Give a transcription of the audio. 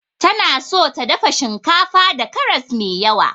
Tana so ta dafa shinkafa da karas mai yawa.